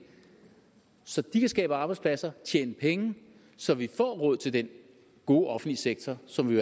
så de kan skabe arbejdspladser og tjene penge så vi får råd til den gode offentlige sektor som vi